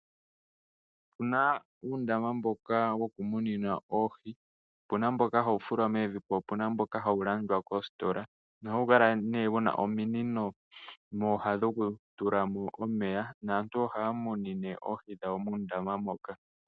Opuna uundama mboka woku munina oohi, opuna mboka ha wu fulwa mevi, po opuna mboka hawu landwa moositola. Ohawu kala nee wu na ominino mooha dhoku tulamo omeya, naantu ohaya munine oohi dhawo muundama moka.